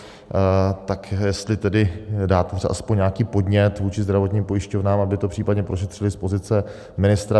Tak jestli tedy dáte aspoň nějaký podnět vůči zdravotním pojišťovnám, aby to případně prošetřily, z pozice ministra.